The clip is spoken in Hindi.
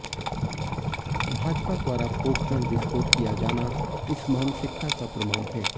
भाजपा द्वारा पोखरण विस्फोट किया जाना इस मानसिकता का प्रमाण है